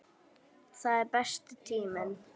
Það er besti tíminn.